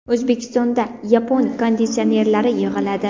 O‘zbekistonda yapon konditsionerlari yig‘iladi.